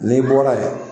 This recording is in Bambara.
N'i bɔra yen